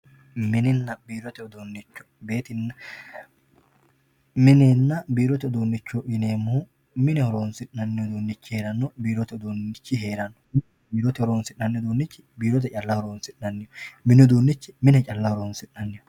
mininna biirote uduunnichoo mininna biirote uduunnichooti yineemmohu mine horonsi'nannihunna biiirote horonsi'nanniho mini uduunnichi mine calla horonsi'nanniho biirote uduunnichi biirote calla horonsi'nanniho